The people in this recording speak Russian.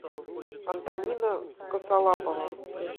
антонина косолапова